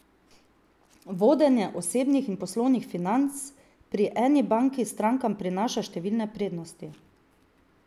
Vodenje osebnih in poslovnih financ pri eni banki strankam prinaša številne prednosti.